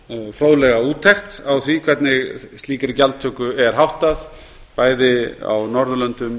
fróðlega úttekt á því hvernig slíkri gjaldtöku er háttað bæði á norðurlöndum